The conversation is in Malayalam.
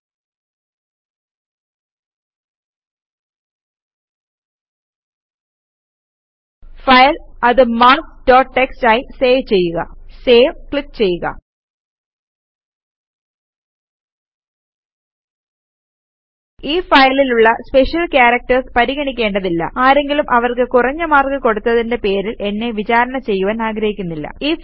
ഫയൽ അത് മാർക്ക്സ് ഡോട്ട് ടിഎക്സ്ടി ആയി സേവ് ചെയ്യുക Saveക്ലിക് ചെയ്യുക ഈ ഫയലിലുള്ള സ്പെഷ്യൽ ക്യാരക്ടേര്സ് പരിഗണിക്കേണ്ടതില്ല ആരെങ്കിലും അവർക്ക് കുറഞ്ഞ മാർക്ക് കൊടുത്തത്തിന്റെ പേരിൽ എന്നെ വിചാരണ ചെയ്യുവാൻ ഞാനാഗ്രഹിക്കുന്നില്ല